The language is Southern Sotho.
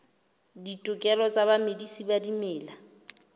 ditokelo tsa bamedisi ba dimela